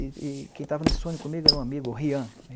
E e quem estava nesse sonho comigo era um amigo, o Rian.